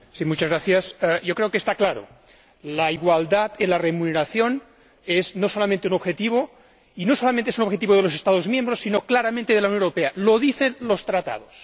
Señora Presidenta, yo creo que está claro la igualdad en la remuneración no es no solamente un objetivo, y no es solamente un objetivo de los Estados miembros, sino claramente de la Unión Europea lo dicen los Tratados.